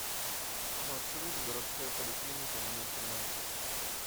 маршрут городская поликлиника номер тринадцать